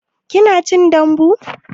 Kina cin dambu?